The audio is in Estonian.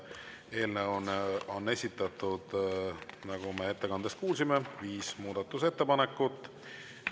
Eelnõu kohta on esitatud, nagu me ettekandest kuulsime, viis muudatusettepanekut.